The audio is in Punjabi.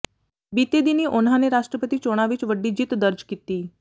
ਬੀਤੇ ਦਿਨੀਂ ਉਨ੍ਹਾਂ ਨੇ ਰਾਸ਼ਟਰਪਤੀ ਚੋਣਾਂ ਵਿਚ ਵੱਡੀ ਜਿੱਤ ਦਰਜ ਕੀਤੀ